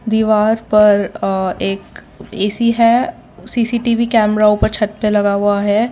दीवार पर अ एक ए_सी है सी_सी_टी_वी कैमरा ऊपर छत पर लगा हुआ है।